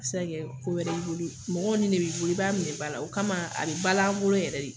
Se ka kɛ ko wɛrɛ y'i boli. Mɔgɔw ni de bi bolo i ba minɛ bala la o kama a bi ba la an bolo yɛrɛ de.